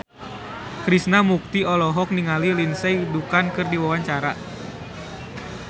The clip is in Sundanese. Krishna Mukti olohok ningali Lindsay Ducan keur diwawancara